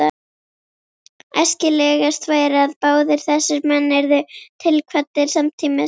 Æskilegast væri, að báðir þessir menn yrðu tilkvaddir samtímis.